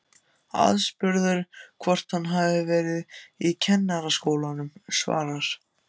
Aðspurður hvort hann hafi verið í Kennaraskólanum svarar